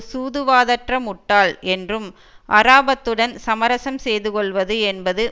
சூதுவாதற்ற முட்டாள் என்றும் அராபத்துடன் சமரசம் செய்துகொள்வது என்பது